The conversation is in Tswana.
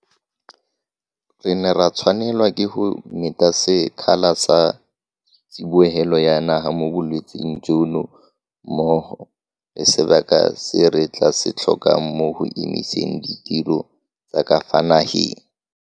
Re ne ra tshwanelwa ke go meta sekgala sa tsibogelo ya naga mo bolwetseng jono mmogo le sebaka se re tla se tlhokang mo go emiseng ditiro tsa ka fa nageng.